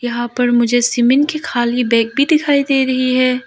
यहां पर मुझे सीमेंट की खाली बैग भी दिखाई दे रही है।